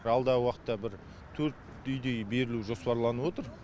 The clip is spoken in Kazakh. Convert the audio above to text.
алдағы уақытта бір төрт үйдей берілу жоспарланып отыр